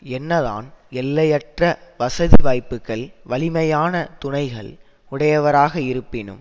என்னதான் எல்லையற்ற வசதிவாய்ப்புகள் வலிமையான துணைகள் உடையவராக இருப்பினும்